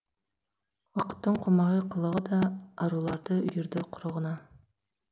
уақыттың қомағай қылығы да аруларды үйірді құрығына